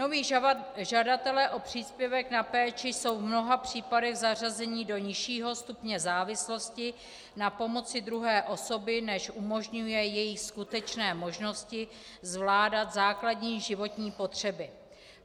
Noví žadatelé o příspěvek na péči jsou v mnoha případech zařazeni do nižšího stupně závislosti na pomoci druhé osoby, než umožňují jejich skutečné možností zvládat základní životní potřeby.